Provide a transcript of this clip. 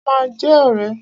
A ma jẹ́ ọ̀rẹ́.